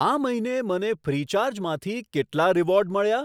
આ મહિને મને ફ્રીચાર્જ માંથી કેટલા રીવોર્ડ મળ્યા?